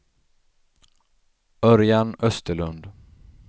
Örjan Österlund